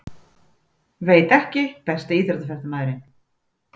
Veit ekki Besti íþróttafréttamaðurinn?